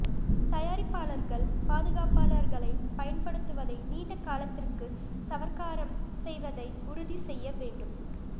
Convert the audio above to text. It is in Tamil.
தயாரிப்பாளர்கள் பாதுகாப்பாளர்களைப் பயன்படுத்துவதை நீண்ட காலத்திற்கு சவர்க்காரம் செய்வதை உறுதி செய்ய வேண்டும்